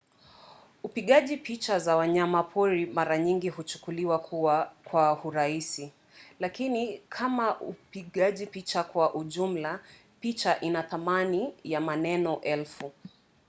upigaji picha za wanyamapori mara nyingi huchukuliwa kwa urahisi lakini kama upigaji picha kwa ujumla picha ina thamani ya maneno elfu